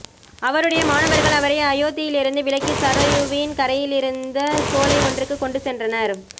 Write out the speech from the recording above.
அவருடைய மாணவர்கள் அவரை அயோத்தியிலிருந்து விலக்கி சரயுவின் கரையிலிருந்த சோலை ஒன்றுக்கு கொண்டுசென்றனர்